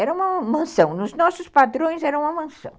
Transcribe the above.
Era uma mansão, nos nossos padrões era uma mansão.